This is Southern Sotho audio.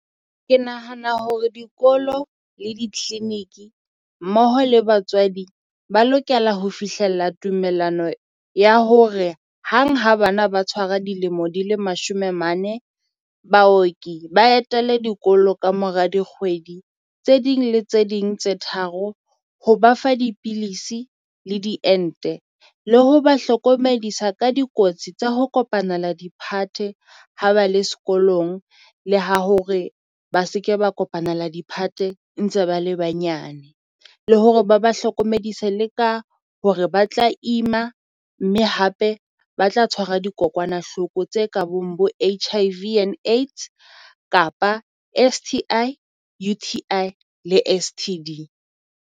Ke nahana hore dikolo le di-clinic mmoho le batswadi ba lokela ho fihlella tumelano ya hore hang ha bana ba tshwara dilemo di le mashome mane, baoki ba etele dikolo kamora dikgwedi tse ding le tse ding tse tharo ho ba fa dipilisi le di ente. Le ho ba hlokomedisa ka dikotsi tsa ho kopanela diphate ha ba le sekolong, le ha hore ba se ke ba kopanela diphate ntse ba le banyane. Le hore ba ba hlokomedisa le ka hore ba tla ima mme hape ba tla tshwara dikokwanahloko tse ka bong bo H_I_V and AIDS Kapa S_T_I, U_T_I, le S_T_D.